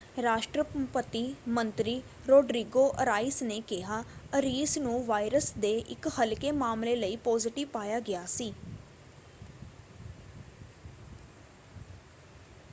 ਰਾਸ਼ਟਰਪਤੀ ਮੰਤਰੀ Rodrigo Arias ਨੇ ਕਿਹਾ ਅਰੀਸ ਨੂੰ ਵਾਇਰਸ ਦੇ ਇਕ ਹਲਕੇ ਮਾਮਲੇ ਲਈ ਪੋਜ਼ੀਟਿਵ ਪਾਇਆ ਗਿਆ ਸੀ।